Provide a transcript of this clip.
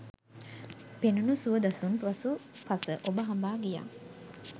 පෙනුණු සුව දසුන් පසු පස ඔබ හඹා ගියා